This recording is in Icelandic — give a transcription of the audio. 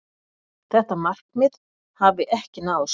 Þetta markmið hafi ekki náðst.